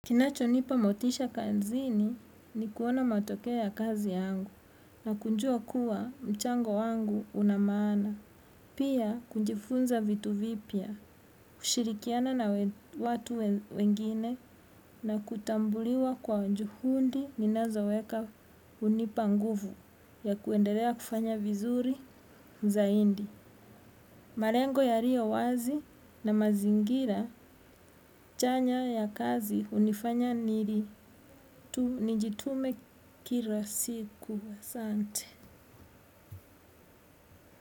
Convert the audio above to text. Kinachonipa motisha kazini ni kuona matokeo ya kazi yangu na kujua kuwa mchango wangu una maana. Pia kujifunza vitu vipya, kushirikiana na watu wengine na kutambuliwa kwa juhudi ninazoweka hunipa nguvu ya kuendelea kufanya vizuri zaidi. Malengo yaliyo wazi na mazingira chanya ya kazi hunifanya nili nijitume kila siku asante.